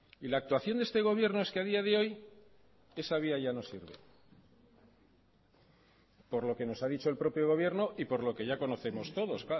y la actuación de este gobierno es que a día de hoy esa vía ya no sirve por lo que nos ha dicho el propio gobierno y por lo que ya conocemos todos